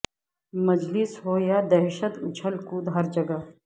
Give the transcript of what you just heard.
مجلس ہو یا کہ دشت اچھل کود ہر جگہ